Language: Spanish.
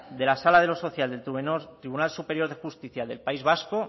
de la sala de lo social del tribunal superior de justicia del país vasco